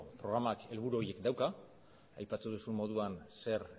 programak helburu horiek dauzka aipatu duzun moduan ze